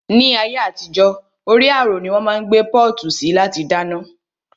Ni ayé àtijó, orí àrò ni wón máa ń gbé pọ́ọ̀tù sí láti dáná